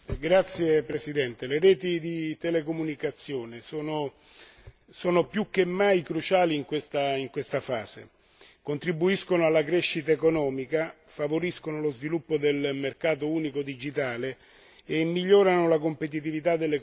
Le reti di telecomunicazione sono più che mai cruciali in questa fase, contribuiscono alla crescita economica, favoriscono lo sviluppo del mercato unico digitale e migliorano la competitività dell'economia soprattutto